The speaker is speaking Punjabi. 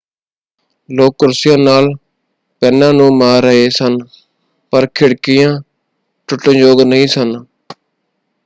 ਲੋਕ ਕੁਰਸੀਆਂ ਨਾਲ ਪੈਨਾਂ ਨੂੰ ਮਾਰ ਰਹੇ ਸਨ ਪਰ ਖਿੜਕੀਆਂ ਟੁੱਟਣ-ਯੋਗ ਨਹੀਂ ਸਨ।